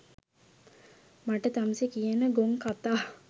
මට තමුසෙ කියන ගොන් කතා